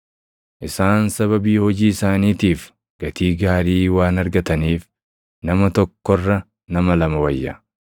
Isaan sababii hojii isaaniitiif gatii gaarii waan argataniif nama tokko irra nama lama wayya: